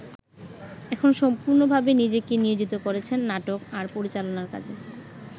এখন সম্পূর্ণভাবে নিজেকে নিয়োজিত করেছেন নাটক আর পরিচালনার কাজে।